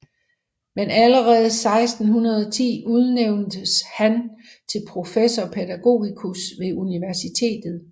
Men allerede 1610 udnævntes han til professor pædagogicus ved universitetet